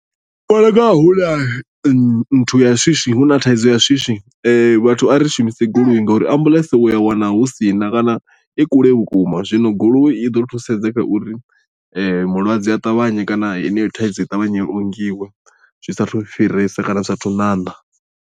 nthu ya shishi hu na thaidzo ya shishi vhathu a ri shumise goloi ngori ambuḽentse u a wana hu si na kana i kule vhukuma zwino goloi i ḓo thusedza kha uri mulwadze a ṱavhanye kana heneyo thaidzo i ṱavhanye i ongiwe zwi saathu fhiresa kana zwi sathu ṋaṋa.